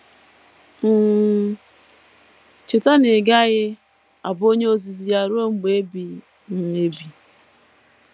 um Cheta na ị gaghị abụ onye ozizi ya ruo mgbe ebighị um ebi.